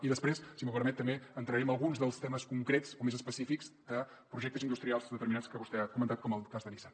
i després si m’ho permet també entraré en alguns dels temes concrets o més específics de projectes industrials determinats que vostè ha comentat com el cas de nissan